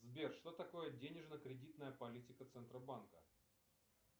сбер что такое денежно кредитная политика центробанка